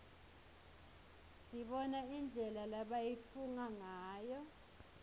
sibona indlela lebayitfunga ngayo